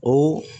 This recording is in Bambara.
O